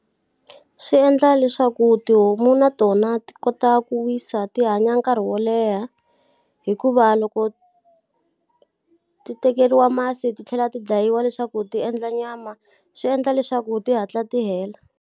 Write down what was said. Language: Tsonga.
Swi endla leswaku tihomu na tona ti kota ku wisa ti hanya nkarhi wo leha, hikuva loko ti tekeriwa masi ti tlhela ti dlayiwa leswaku ti endla nyama, swi endla leswaku ti hatla ti hela.